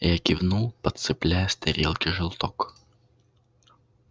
я кивнул подцепляя с тарелки желток